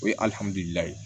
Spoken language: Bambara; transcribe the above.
O ye